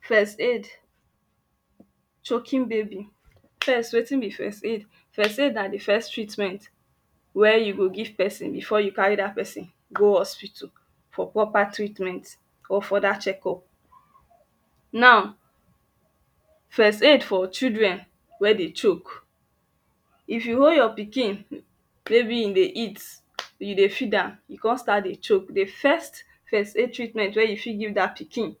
first aid chocking baby first wetin be first aid? first aid na di first treatment we you go give pesin before you carry da pesin go hospital for proper treatment or for futher checkup now first aid for chilfren we dey choke if you hold your pikin mey be in dey eat, you dey feed am e kon start dey choke di first first aid treatment we youu fit give dat pikin